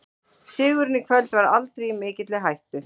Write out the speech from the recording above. Sigurinn í kvöld var aldrei í mikilli hættu.